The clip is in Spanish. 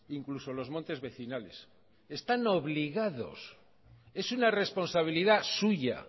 incluso los montes vecinales están obligados es una responsabilidad suya